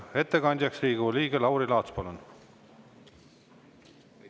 Ettekandja Riigikogu liige Lauri Laats, palun!